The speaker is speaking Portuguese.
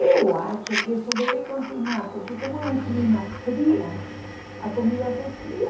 Eu acho que isso deve continuar, porque como é um clima frio, a comida se esfria.